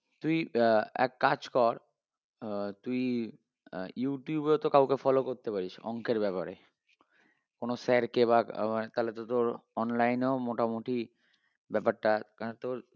তুই আহ এক কাজ কর আহ তুই ইউটিউবে তো কাউকে follow করতে পারিস অংকের ব্যাপারে কোনো sir কে বা আহ তালে তো তোর online এও মোটামোটি ব্যাপারটা কারণ তোর